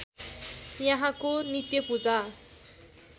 यहाँको नित्य पूजा